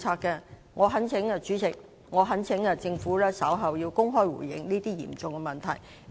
代理主席，我懇請局長稍後公開回應這些嚴重的問題。